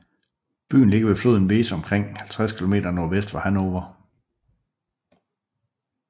Byen ligger ved floden Weser omkring 50 kilometer nordvest for Hannover